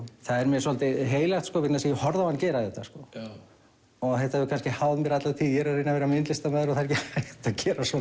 það er mér svolítið heilagt vegna þess að ég horfði á hann gera þetta þetta hefur kannski háð mér alla tíð ég er að reyna að vera myndlistarmaður og það er ekki hægt að gera svona